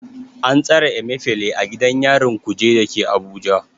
An tsare Emefile a gidan yarin Kuje da ke Abuja.